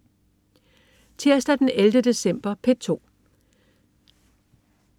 Tirsdag den 11. december - P2: